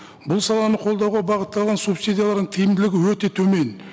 бұл саланы қолдауға бағытталған субсидиялардың тиімділігі өте төмен